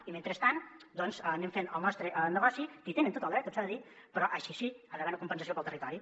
i mentrestant doncs anem fent el nostre negoci que hi tenen tot el dret tot s’ha de dir però això sí hi ha d’haver una compensació per al territori